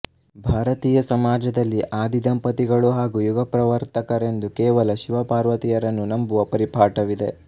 ಭಾರತೀಯ ಸಮಾಜದಲ್ಲಿ ಆದಿ ದಂಪತಿಗಳು ಹಾಗೂ ಯುಗ ಪ್ರವರ್ತಕರೆಂದು ಕೇವಲ ಶಿವಪಾರ್ವತಿಯರನ್ನು ನಂಬುವ ಪರಿಪಾಠವಿದೆ